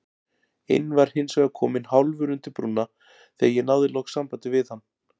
inn var hinsvegar kominn hálfur undir brúna þegar ég náði loks sambandi við hann.